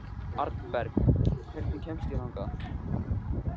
Arnberg, hvernig kemst ég þangað?